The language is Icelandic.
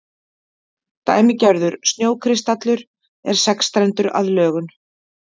Dæmigerður snjókristallur er sexstrendur að lögun.